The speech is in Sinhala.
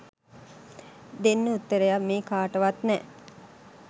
දෙන්න උත්තරයක් මේ කාටවත් නෑ.